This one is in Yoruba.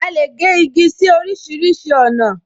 A lè gé igi sí orísìírísìí ọ̀nà